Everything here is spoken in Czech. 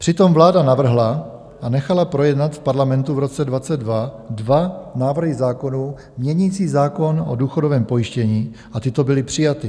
Přitom vláda navrhla a nechala projednat v Parlamentu v roce 2022 dva návrhy zákonů měnící zákon o důchodovém pojištění a tyto byly přijaty.